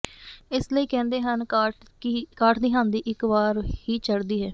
ਇਸ ਲਈ ਕਹਿੰਦੇ ਹਨ ਕਾਠ ਦੀ ਹਾਂਡੀ ਇੱਕ ਵਾਰ ਹੀ ਚੜ੍ਹਦੀ ਹੈ